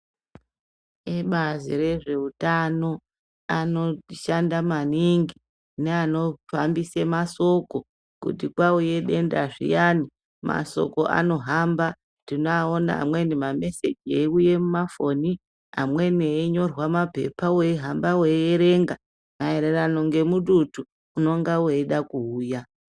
Ebazi rezveutano anoshanda maningi, neanohambisa masoko kuti kwauya denda zviyani, masoko anohamba, tinoaona amweni mameseji eyiwuya mumafoni, amweni eyi nyorwa mumapepa, weyi hamba weyi erenga mayererano ngemututu unonga weyida kuuya.